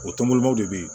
O tɔnbɔlɔbaw de bɛ yen